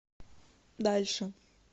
дальше